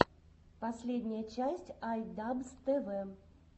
последняя часть ай дабз тэ вэ